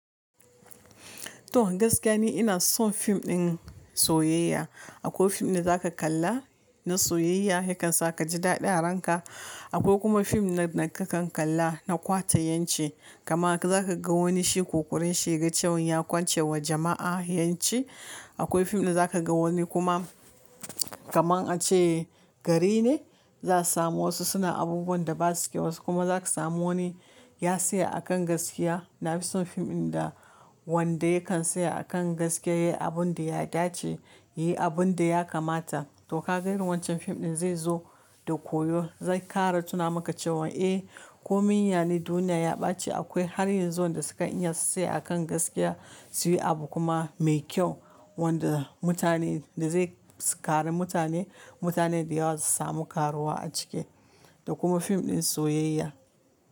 To gaskiya ne ina son fim ɗin soyayya. Akwai fim din da zaka kalla na soyayya, yakan sa ka ji daɗi a ranka. Akwai kuma fim na da kakan kalla na ƙwatan ƴan ci. Kama zaka ga wani shi ƙoƙarin shi ya ga cewan ya kwance wa jama'a ƴanci. Akwai fim da zaka ga wani kuma kaman a ce gari ne, za a samu wasu suna abubuwan da ba su kyau, wasu kuma zaka samu wani ya tsaya a kan gaskiya. Na fi son fim ɗin da wanda yakan tsaya a kan gaskiya, yayi abun da ya dace, yayi abun da ya kamata. To ka ga irin wancan fim ɗin zai zo da koyo, zai kara tuna maka cewan, eh, komi ya ne duniya ya ɓaci. Akwai har yanzu wanda sukan iya su tsaya a kan gaskiya, su yi abu kuma mai kyau wanda mutane da zai kare mutane, mutane da yawa su samu karuwa a ciki. Da kuma fim ɗin soyayya.